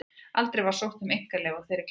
Aldrei var sótt um einkaleyfi á þeirri klemmu.